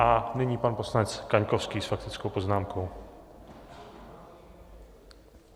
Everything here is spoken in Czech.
A nyní pan poslanec Kaňkovský s faktickou poznámkou.